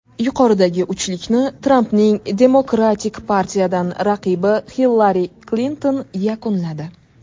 Yuqori uchlikni Trampning Demokratik partiyadan raqibi Hillari Klinton yakunladi.